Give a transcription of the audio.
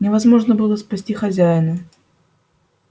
невозможно было спасти хозяина